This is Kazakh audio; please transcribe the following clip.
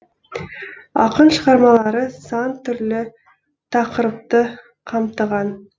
ақын шығармалары сан түрлі тақырыпты қамтыған